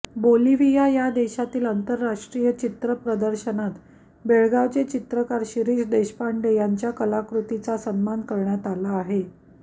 Bolivia या देशातील आंतरराष्ट्रीय चित्रप्रदर्शनात बेळगावचे चित्रकार शिरिष देशपांडे यांच्या कलाकृतीचा सन्मान करण्यात आला आहे